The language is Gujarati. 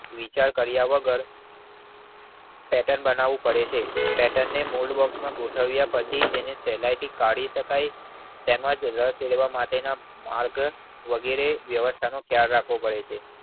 વિચાર કાર્ય વગર પેર્ટન બનવું પડે છે. પેર્ટન ને મોલ્ડ બોક્સ માં ગોઠવ્યા પછી તેને સહેલાય થી કાઢી શકાય તેમજ વશ જોડવા માટેના વગેરે જેવા વ્યવસ્થા નો ખ્યાલ રાખવો પડે છે.